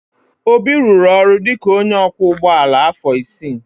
Obi rụrụ ọrụ dị ka onye ọkwọ ụgbọala afọ isii.